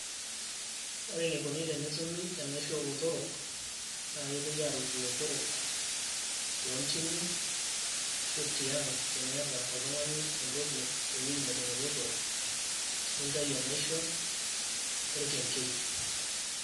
ore eneikoni tenetumi enaisho oolotorok, naa kepuoi aarut ilotorok, toonyimi. ashu tiang' tiniata oltungani ewueji nejing' ilotorok, nitayu enaisho orkenkei.